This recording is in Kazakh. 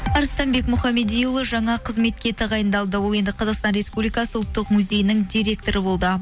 арыстанбек мұхаммедиұлы жаңа қызметке тағайындалды ол енді қазақстан республикасы ұлттық музейінің директоры болды